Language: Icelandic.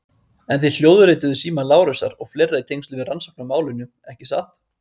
En þið hljóðrituðuð síma Lárusar og fleiri í tengslum við rannsókn á málinu, ekki satt?